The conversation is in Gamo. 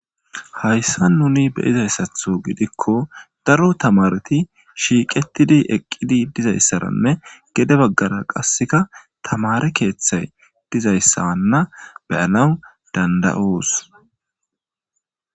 Hayssan nuuni be7izayssathoo gidikko daro thamarethi shiiqeththidi eqqidi dizayssaranne gede baggara qasseka thamaare keeththay dizayssaanna be7anawu dandda7oos.